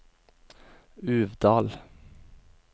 Uvdal